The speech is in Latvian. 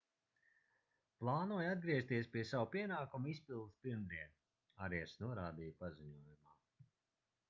plānoju atgriezties pie savu pienākumu izpildes pirmdien arias norādīja paziņojumā